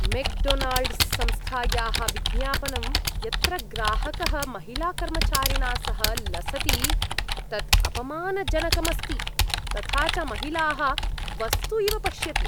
McDonald's संस्थायाः विज्ञापनं यत्र ग्राहकः महिलाकर्मचारिणा सह लसति तत् अपमानजनकम् अस्ति, तथा च महिलाः वस्तु इव पश्यति।